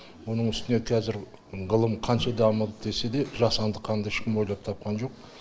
оның үстіне қазір ғылым қанша дамыды десе де жасанды қанды ешкім ойлап тапқан жоқ